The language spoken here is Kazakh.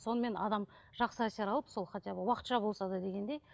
сонымен адам жақсы әсер алып сол хотя бы уақытша болса да дегендей